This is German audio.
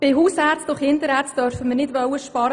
Bei Hausärzten und Kinderärzten dürfen wir nicht sparen.